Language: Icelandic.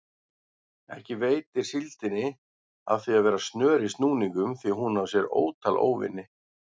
Ekki veitir síldinni af að vera snör í snúningum því hún á sér ótal óvini.